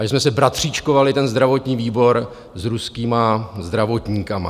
A že jsme se bratříčkovali, ten zdravotní výbor, s ruskými zdravotníky.